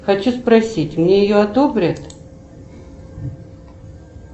хочу спросить мне ее одобрят